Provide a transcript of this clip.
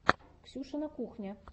ксюшина кухня